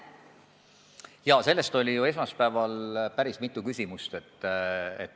Jaa, selle kohta esitati esmaspäeval ju päris mitu küsimust.